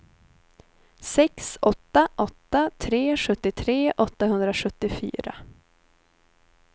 sex åtta åtta tre sjuttiotre åttahundrasjuttiofyra